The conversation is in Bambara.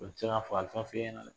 O tɛ se k'a fa ta fiɲɛna dɛ